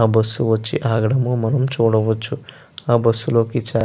ఆ బస్సు ఆగడం మనం చూడవచు ఆ బస్సు చాలా.